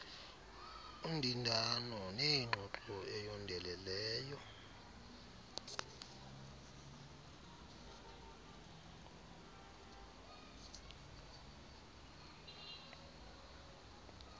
undindano nengxoxo eyondeleleneyo